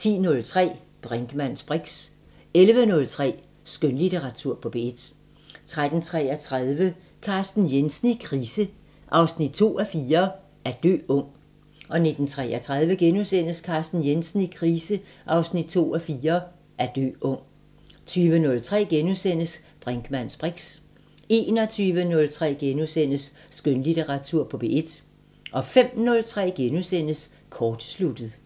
10:03: Brinkmanns briks 11:03: Skønlitteratur på P1 13:33: Carsten Jensen i krise 2:4 – At dø ung 19:33: Carsten Jensen i krise 2:4 – At dø ung * 20:03: Brinkmanns briks * 21:03: Skønlitteratur på P1 * 05:03: Kortsluttet *